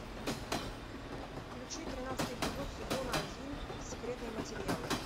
включи тринадцатый эпизод сезона один секретные материалы